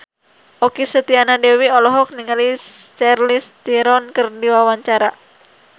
Okky Setiana Dewi olohok ningali Charlize Theron keur diwawancara